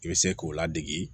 I bɛ se k'o ladege